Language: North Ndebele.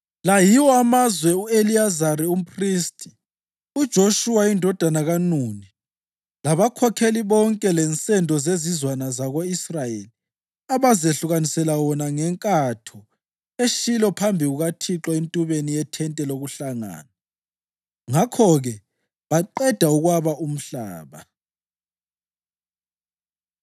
La yiwo amazwe u-Eliyazari umphristi, uJoshuwa indodana kaNuni labakhokheli bonke lensendo zezizwana zako-Israyeli abazehlukanisela wona ngenkatho eShilo phambi kukaThixo entubeni yethente lokuhlangana. Ngakho-ke baqeda ukwaba umhlaba.